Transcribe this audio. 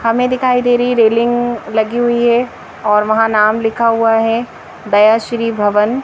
हमें दिखाई दे रही रेलिंग लगी हुई है और वहां नाम लिखा हुआ है दया श्री भवन--